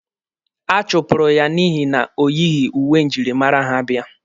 A chụpụrụ ya n'ihi na o yighi uwe njirimara ha bịa.